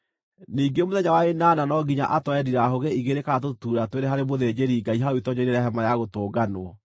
Ningĩ mũthenya wa ĩnana no nginya atware ndirahũgĩ igĩrĩ kana tũtutuura twĩrĩ harĩ mũthĩnjĩri-Ngai hau itoonyero-inĩ rĩa Hema-ya-Gũtũnganwo.